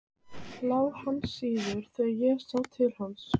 LÁ HANN SÍÐAST ÞEGAR ÉG SÁ TIL HANS.